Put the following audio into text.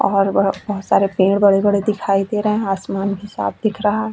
और वह बहोत सारे पेड़ बड़े-बड़े दिखाई दे रहे है आसमान भी साफ दिख रहा है।